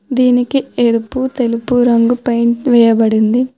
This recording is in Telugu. దీనికి ఎరుపు తెలుపు రంగు పెయింట్ వేయబడి ఉంది.